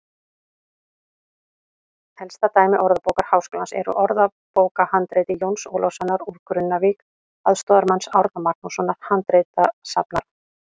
Elsta dæmi Orðabókar Háskólans er úr orðabókarhandriti Jóns Ólafssonar úr Grunnavík, aðstoðarmanns Árna Magnússonar handritasafnara.